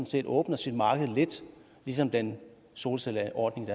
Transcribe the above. set åbner sit marked lidt ligesom den solcelleordning